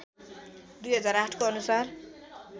२००८ को अनुसार